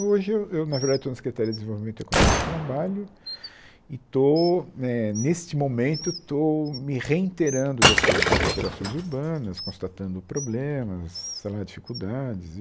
Hoje eu eu na verdade estou na Secretaria de Desenvolvimento Econômico e Trabalho e estou eh, neste momento, estou me reinterando das coisas das operações urbanas, constatando problemas, sei lá, dificuldades.